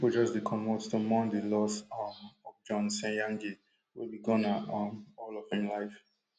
pipo just dey comot to mourn di loss um of john senyange wey be gunner um all of im life